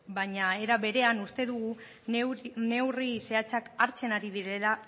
baina ere berean uste dugu neurri zehatzak hartzen ari direla